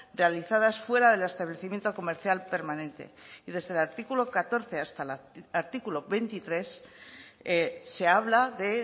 realizadas fuera del establecimiento comercial permanente y desde el artículo catorce hasta el artículo veintitrés se habla de